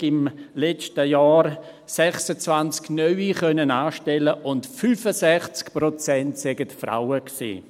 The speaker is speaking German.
Er habe im letzten Jahr 26 neue anstellen können und 65 Prozent seien Frauen gewesen.